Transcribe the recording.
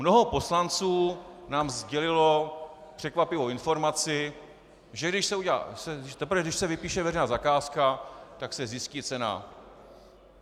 Mnoho poslanců nám sdělilo překvapivou informaci, že teprve když se vypíše veřejná zakázka, tak se zjistí cena.